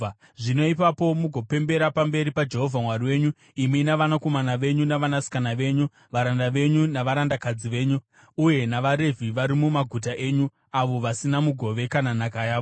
Zvino ipapo mugopembera pamberi paJehovha Mwari wenyu, imi navanakomana venyu navanasikana venyu, varanda venyu navarandakadzi venyu, uye navaRevhi vari mumaguta enyu, avo vasina mugove kana nhaka yavo.